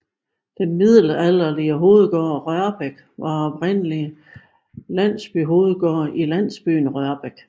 Den middelalderlige hovedgård Rørbæk var oprindelig en landsbyhovedgård i landsbyen Rørbæk